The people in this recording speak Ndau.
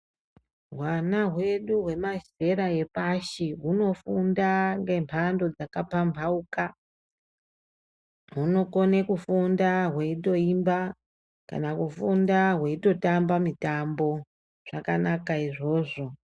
Hwana hwedu hwemazera epashi hunofunda ngemhando dzakapamhauka, hunokone kufunda hweitoimba kana kufunda hweitotamba mitambo. Zvakanaka izvozvo.